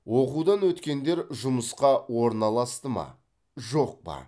оқудан өткендер жұмысқа орналасты ма жоқ па